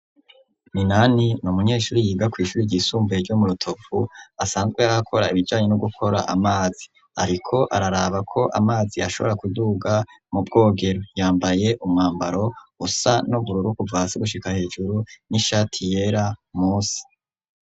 Minani n'umunyeshuri yiga ku ishuri ry'isumbaye ryo murotovu asanzwe akora ibijanyi no gukora amazi ariko araraba ko amazi ashobora kuduga mu bwogero yambaye umwambaro usa n'ubururuku bvase gushika hejuru n'ishati yera musi.